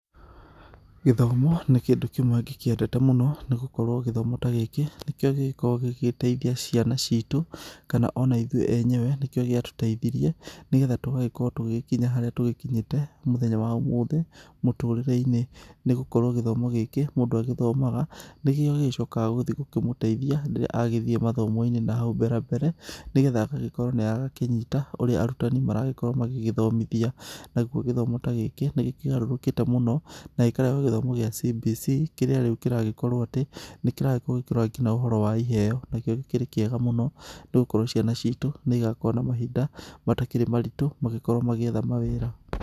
Gĩthomo nĩ kĩndũ kĩmwe ngĩkĩendete mũno nĩgũkorwo gĩthomo ta gĩkĩ nĩkĩo gĩgĩkoragwo gĩgĩteithia ciana citũ kana ona ithũe enyewe nĩ kĩo gĩa tũteithirie nigetha tũgagĩkorwo tũgĩkinya harĩa tũgĩkinyĩte mũthema wa omothe mũtũrĩre-inĩ nĩgũkorwo gĩthomo gĩkĩ mũndũ agĩthomaga nĩkĩo gĩcoka gĩgĩthiĩ kũmũteithia rĩrĩa agĩthiĩ mathomo-inĩ nahau mbera mbere nĩgetha agagĩkorwo nĩ arakĩnyita ũrĩa arũtani marakorwo magĩthomithania, nagũo gĩthomo ta gĩkĩ nĩ kĩgarũrũkĩte mũno na gĩkarehwo gĩa CBC kĩrĩa rĩu kĩragĩkorwo atĩ nĩ kĩragĩkorwo gĩkĩrora nginya ũhoro wa iheo, nakĩo gĩkĩrĩ kĩega mũno nĩ gũkorwo ciana citũ nĩ ĩgakorwo na mahinda matakĩrĩ maritũ magĩkorwo magĩetha mawĩra.